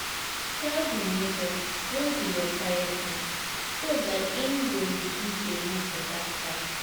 Tell di neighbour when be your quiet time so dat im go reduce di noise for that time